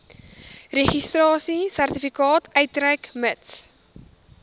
registrasiesertifikaat uitreik mits